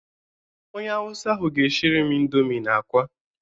Onye awụsa ahụ ga-eshiri m ịndomi na akwa.